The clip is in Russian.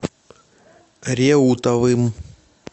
реутовым